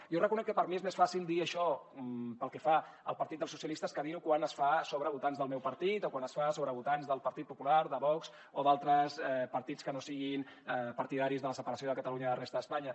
jo reconec que per a mi és més fàcil dir això pel que fa al partit dels socialistes que dir ho quan es fa sobre votants del meu partit o quan es fa sobre votants del partit popular de vox o d’altres partits que no siguin partidaris de la separació de catalunya de la resta d’espanya